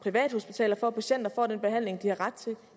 privathospitaler for at patienter får den behandling de har ret til